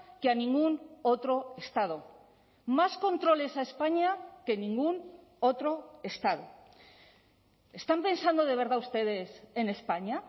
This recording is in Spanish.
que a ningún otro estado más controles a españa que en ningún otro estado están pensando de verdad ustedes en españa